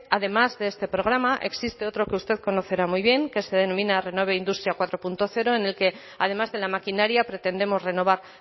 además de este programa existe otro que usted conocerá muy bien que se denomina renueve industria cuatro punto cero en el que además de la maquinaria pretendemos renovar